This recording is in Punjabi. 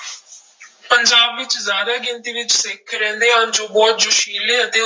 ਪੰਜਾਬ ਵਿੱਚ ਜ਼ਿਆਦਾ ਗਿਣਤੀ ਵਿੱਚ ਸਿੱਖ ਰਹਿੰਦੇ ਹਨ, ਜੋ ਬਹੁਤ ਜੋਸ਼ਿਲੇ ਅਤੇ